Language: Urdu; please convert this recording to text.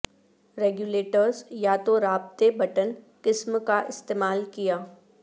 ریگولیٹرز یا تو رابطے بٹن قسم کا استعمال کیا